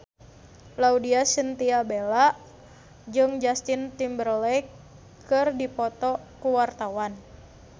Laudya Chintya Bella jeung Justin Timberlake keur dipoto ku wartawan